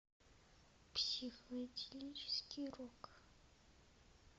психоделический рок